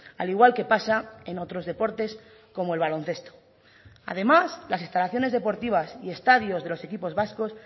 al igual que pasa en otros deportes como el baloncesto además las instalaciones deportivas y estadios de los equipos vascos